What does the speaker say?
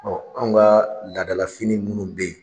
anw ka laada la fini minnu bɛ ye.